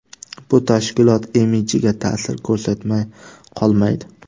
Bu tashkilot imidjiga ta’sir ko‘rsatmay qolmaydi.